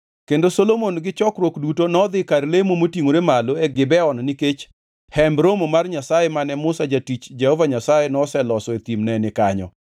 Kendo Solomon gi chokruok duto nodhi kar lemo motingʼore malo e Gibeon nikech Hemb Romo mar Nyasaye mane Musa jatich Jehova Nyasaye noloso e thim ne ni kanyo.